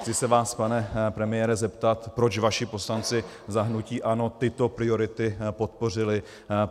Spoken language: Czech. Chci se vás, pane premiére, zeptat, proč vaši poslanci za hnutí ANO tyto priority podpořili.